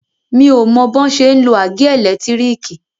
Mi ò o mọ bọ́n ṣe ń lo àgé ẹ̀lẹ́tírìkì.